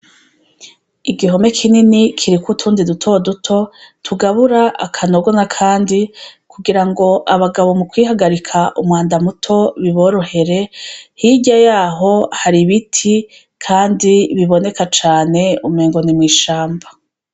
Igihome kinini kiriko utundi dutoduto tugabyra akanogo nakandi kugirango abagabo mukwihagarika umwanda muto biboro here hirya yaho hari ibiti biboneka umenga ni mwishamba.